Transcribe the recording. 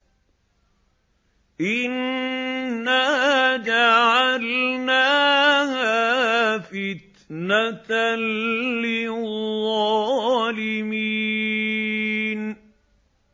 إِنَّا جَعَلْنَاهَا فِتْنَةً لِّلظَّالِمِينَ